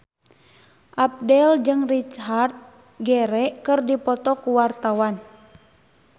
Abdel jeung Richard Gere keur dipoto ku wartawan